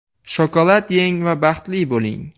Shokolad yeng va baxtli bo‘ling.